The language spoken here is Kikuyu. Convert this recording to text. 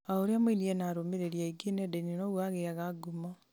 o ũrĩa mũini ena arũmĩrĩri aingĩ nendainĩ noguo agĩyaga ngumo